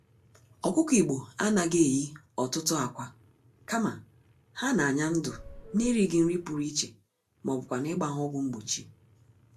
Ọkụkọ Igbo anaghị eyi ọtụtụ ákwà, kama, ha n'anya-ndụ n'erighì nri pụrụ iche mọbụkwanụ̀ ịgba ha ọgwụ mgbochi